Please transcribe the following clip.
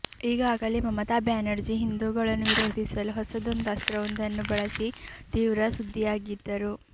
ಈಗಾಗಲೇ ಮಮತಾ ಬ್ಯಾನರ್ಜಿ ಹಿಂದೂಗಳನ್ನು ವಿರೋಧಿಸಲು ಹೊಸದೊಂದು ಅಸ್ತ್ರವೊಂದನ್ನು ಬಳಸಿ ತೀವ್ರ ಸುದ್ದಿಯಾಗಿದ್ದರು